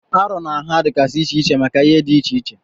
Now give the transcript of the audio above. Arọ na nha dịgasị iche iche maka ihe dị iche iche.